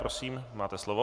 Prosím, máte slovo.